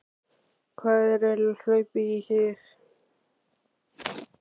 Hvað er eiginlega hlaupið í þig?